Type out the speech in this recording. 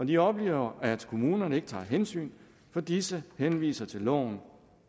de oplever at kommunerne ikke tager hensyn fordi disse henviser til loven